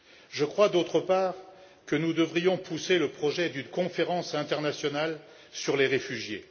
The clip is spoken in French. Je crois, d'autre part, que nous devrions soutenir le projet d'une conférence internationale sur les réfugiés.